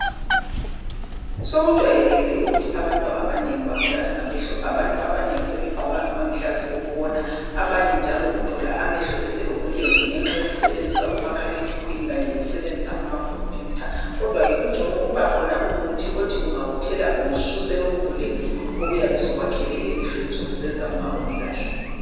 Sokujwayelekile ukuthi abantu abanengi babulawe ngamehlo abantu abanengi sebegqoka ama gilazi okubona abanye njalo uthola eselobulembu ngenxa yokusebenzisa umakhale khukhwini nkanye nokusebenzisa ama khomputha kodwa ke kungcono kukhona umuthi othi ungawuthela kubususe lobu bulembu obenza ungaboni kahle